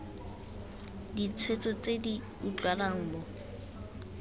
ditshwetso tse di utlwalang mo